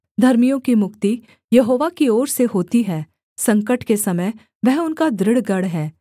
धर्मियों की मुक्ति यहोवा की ओर से होती है संकट के समय वह उनका दृढ़ गढ़ है